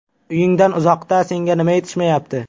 Uyingdan uzoqda senga nima yetishmayapti?